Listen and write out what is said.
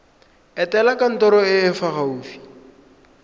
etela kantoro e e gaufi